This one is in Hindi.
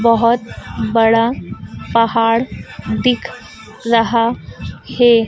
बहोत बड़ा पहाड़ दिख रहा है।